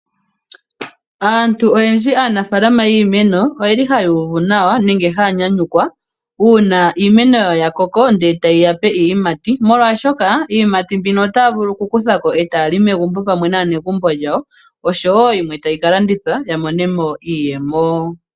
Aantu oyendji aanafalama yiimeno oyeli haya uvu nawa nenge haya nyanyukwa uuna iimeno yawo yakoko nde taye yape iiyimati molwaashoka iiyimati mbino otaya vulu okukuthako ee taya li megumbo pamwe naanegumbo yawo osho woo yimwe tayi kalandithwa yamonemo iiyemo.